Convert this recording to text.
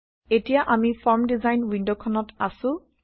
এতিয়া আমি form design ৱিণ্ডখনত আছো